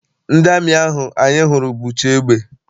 Ndị amị ahụ anyị hụrụ bucha egbe.